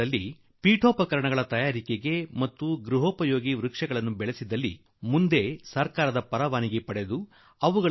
ನಮ್ಮ ಜಮೀನಿನ ಬದಿಯಲ್ಲಿ ಇಂತಹ ಮರ ಬೆಳೆದು ನಿಂತು ಮನೆಗೆ ಫರ್ನೀಚರ್ ಬೇಕಾಗುವ ಮರ ನೀಡುವ ಗಿಡ ನೆಟ್ಟು 15 20 ವರ್ಷಗಳ ನಂತರ ಸರ್ಕಾರದ ಅನುಮತಿ ಪಡೆದು ಆ ಮರಗಳನ